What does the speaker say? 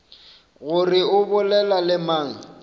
gore o bolela le mang